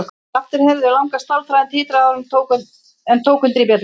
Aftur heyrðu þau langa stálþráðinn titra áður en tók undir í bjöllunni.